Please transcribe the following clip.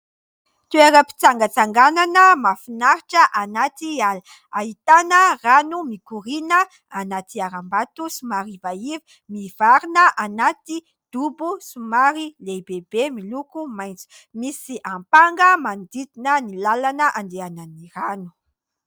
Toeram-pitsangatsanganana mahafinaritra anaty ala. Ahitana rano mikoriana anaty harambato somary ivaiva mivarina anaty dobo somary lehibehibe miloko maitso. Misy ampanga manodidina andehanan'ny rano.